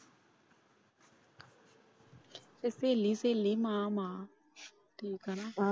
ਤੇ ਸਹੇਲੀ ਸਹੇਲੀ ਮਾਂ ਮਾਂ ਠੀਕ ਏ ਨਾ।